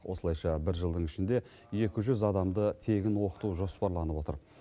осылайша бір жылдың ішінде екі жүз адамды тегін оқыту жоспарланып отыр